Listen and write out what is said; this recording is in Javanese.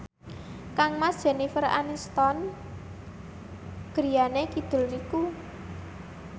kangmas Jennifer Aniston griyane kidul niku